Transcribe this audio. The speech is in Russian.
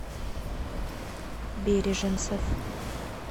береженцев